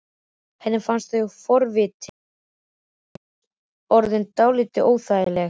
Henni fannst þessi forvitni hans orðin dálítið óþægileg.